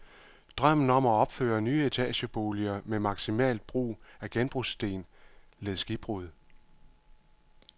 Drømmen om at opføre nye etageboliger med maksimalt brug af genbrugssten led skibbrud.